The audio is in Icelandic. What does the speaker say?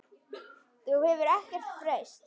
Þú hefur ekkert breyst.